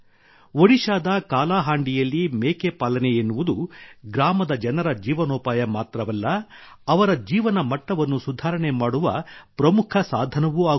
ಒಡಿಶಾದ ಕಾಲಾಹಾಂಡಿಯಲ್ಲಿ ಮೇಕೆ ಪಾಲನೆ ಎನ್ನುವುದು ಗ್ರಾಮದ ಜನರ ಜೀವನೋಪಾಯ ಮಾತ್ರವಲ್ಲ ಅವರ ಜೀವನ ಮಟ್ಟವನ್ನು ಸುಧಾರಣೆ ಮಾಡುವ ಪ್ರಮುಖ ಸಾಧನವೂ ಆಗುತ್ತಿದೆ